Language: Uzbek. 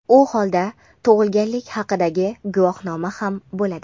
u holda tug‘ilganlik haqidagi guvohnoma ham bo‘ladi.